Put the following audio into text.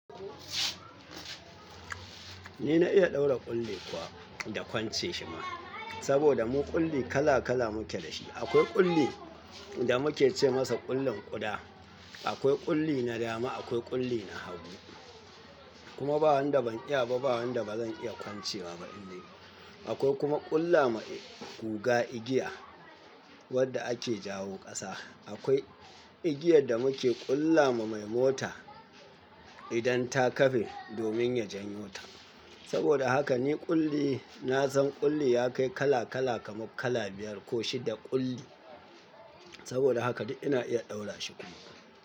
Ni na iya ɗaura ƙulli kuwa da kwance shi ma, saboda mu ƙulli kala kala muke da shi. Akwai ƙulli da muke ce masa ƙullin ƙuda, akwai ƙulli na dama, akwai ƙulli na habu. Kuma ba wanda ban iya ba, ba wanda ba zan iya kwancewa ba indai. Akwai kuma ƙulla ma guga igiya wadda ake jawo ƙasa. Akwai igiyar da muke ƙulla ma mai mota idan ta kafe domin ya janyota. Saboda haka ni ƙulli, na san ƙulli ya kai kala kala kamar kala biyar ko shida ƙulli. Saboda haka ina iya ɗaura shi kuma.